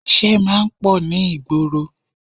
Ìṣe máa ń pọ̀ ní ìgboro